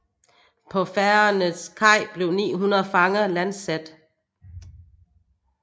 På Fagernes kaj blev 900 fanger landsat